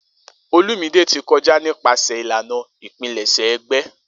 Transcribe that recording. Olumide ti kọja nipasẹ ilana ipilẹṣẹ egbe.